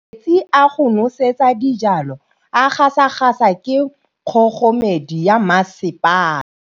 Metsi a go nosetsa dijalo a gasa gasa ke kgogomedi ya masepala.